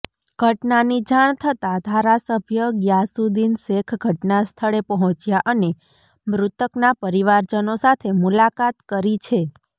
ઘટનાની જાણ થતા ધારાસભ્ય ગ્યાસુદ્દીન શેખ ઘટનાસ્થળે પહોંચ્યા અને મૃતકના પરિવારજનો સાથે મુલાકાત કરી છે